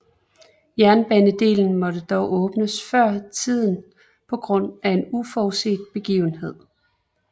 Jernbanedelen måtte dog åbnes før tiden på grund af en uforudset begivenhed